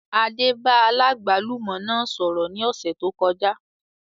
Adé bá aláàgbálùmọ́ náà sọ̀rọ̀ ní ọ̀sẹ̀ tó kọjá